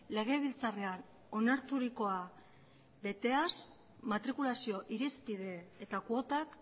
legebiltzarrean onarturikoa beteaz matrikulazio irizpide eta kuotak